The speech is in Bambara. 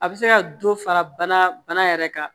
A bɛ se ka dɔ fara bana bana yɛrɛ kan